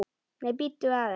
Nei, bíddu aðeins!